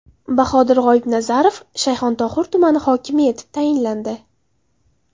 Bahodir G‘oyibnazarov Shayxontohur tumani hokimi etib tayinlandi.